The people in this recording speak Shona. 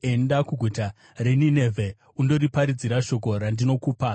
“Enda kuguta reNinevhe undoriparidzira shoko randinokupa.”